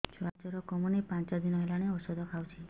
ଛୁଆ ଜର କମୁନି ପାଞ୍ଚ ଦିନ ହେଲାଣି ଔଷଧ ଖାଉଛି